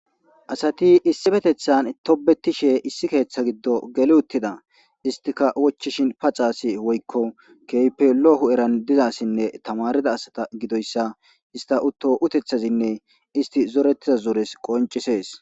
Asati issipeteththan tobbetishe issi keeththan giddo geli uttida. Istika wochchishin faxa asi woykko keehippe lo'o hu'era diza asinne tamarida asata gidoyssa utto uteththazinne isti zoretiza zorezi qonccisees.